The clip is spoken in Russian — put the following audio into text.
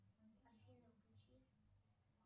афина включись